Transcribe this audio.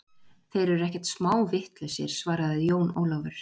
Þeir eru ekkert smá vitlausir, svaraði Jón Ólafur.